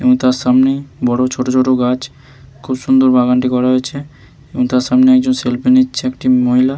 এবং তার সামনেই বড়ো ছোট ছোট গাছ । খুব সুন্দর বাগানটি করা হয়েছে এবং তার সামনে একজন সেলফি নিচ্ছে একজন মহিলা--